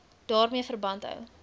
daarmee verband hou